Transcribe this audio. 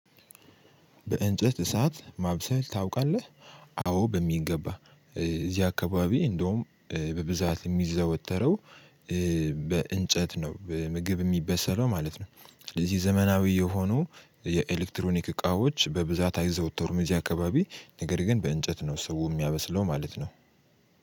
በእንጨት እሳት ማብሰል ታውቃለህ አዎ በሚገባ እዚህ አካባቢ እንደውም በብዛት የሚዘወተረው በእንጨት ነው ምግብ የሚበሰለው ማለት ነው። እንደዚህ ዘመናዊ የሆኑ የኤሌክትሮኒክ እቃዎች በብዛት አይዘወተሩም አካባቢ ነገር ግን በእንጨት ነው ሰው የሚያበስለው ማለት ነው።